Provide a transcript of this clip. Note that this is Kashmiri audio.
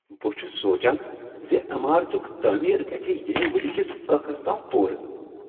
بہٕ چھس سوچان ز عمارتک تعمیر گژھ ییمہ ؤریہ کس ٲخرس تام پورٕ۔